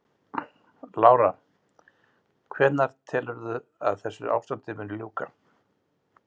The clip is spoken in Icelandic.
Lára: Hvenær telurðu að þessu ástandi muni ljúka?